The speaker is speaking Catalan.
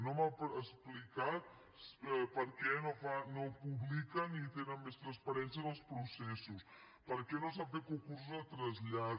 no m’ha explicat per què no ho publiquen i tenen més transparència en els processos per què no s’han fet concursos de trasllat